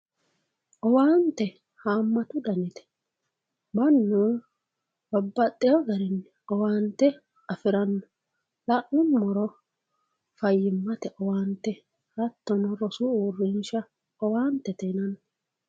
owaante haammatu danite mannu babbaxino garinni owaante afiranno la'nummoro fayyimmate owaante hattono rosu uurrinsha owaantete yinanni.